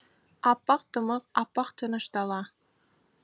аппақ тымық аппақ тыныш дала